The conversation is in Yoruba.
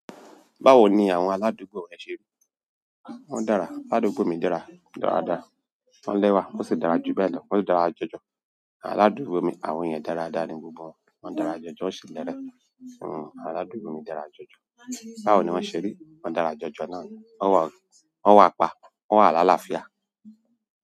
Báwo ni àwọn alàdúgbò rẹ ṣe rí? Wọ́n dára, aládùúgbò mi dára dáradára. Wọ́n lẹ́wà, wón sì dára jù bẹ́ẹ̀ lọ, wọ́n si dára jọjọ. Aládùúgbò mi, àwọn ènìyàn dára dára ni gbogbo wọn. Wọ́n dára jọjọ ó sì lẹ́rẹ̀. Hhm, aládùúgbò mi dára jọjọ. Báwo ni wọ́n ṣe rí? Wọ́n dára jọjọ náà. Won wa pa, won wa la lafia.